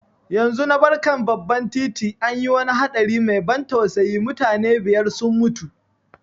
Yanzu na bar kan babban titi, an yi wani haɗari mai ban tausayi, mutane biyar sun mutu.